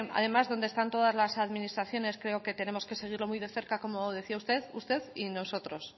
además donde están todas las administraciones creo que tenemos que seguirlo muy de cerca como decía usted y nosotros